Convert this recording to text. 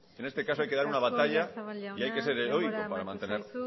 en este caso hay que dar una batalla y hay que ser heroico para mantener